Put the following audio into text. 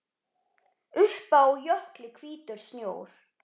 Uppi á jökli hvítur snjór.